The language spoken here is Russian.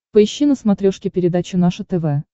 поищи на смотрешке передачу наше тв